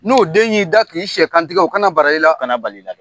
N'o den y'i da k'i siyɛkantigɛ o kana bara i la kana balila.